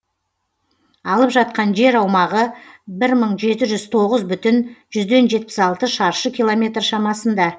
алып жатқан жер аумағы бір мың жеті жүз тоғыз бүтін жүзден жетпіс алты шаршы километр шамасында